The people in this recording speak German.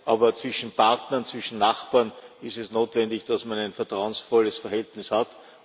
Aber zwischen Partnern, zwischen Nachbarn ist es notwendig, dass man ein vertrauensvolles Verhältnis